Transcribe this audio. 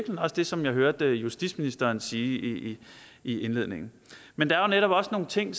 også det som jeg hørte justitsministeren sige i indledningen men der er netop også nogle ting